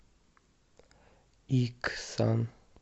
иксан